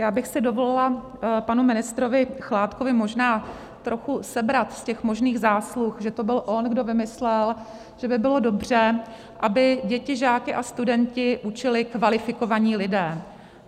Já bych si dovolila panu ministrovi Chládkovi možná trochu sebrat z těch možných zásluh, že to byl on, kdo vymyslel, že by bylo dobře, aby děti, žáky a studenty učili kvalifikovaní lidé.